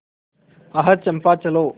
आह चंपा चलो